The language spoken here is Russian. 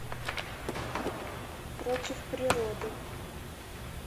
против природы